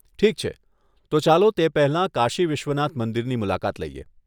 ઠીક છે, તો ચાલો તે પહેલાં કાશી વિશ્વનાથ મંદિરની મુલાકાત લઈએ!